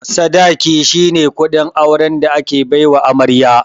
Sadaƙi shine kuɗin auren da ake baiwa amarya.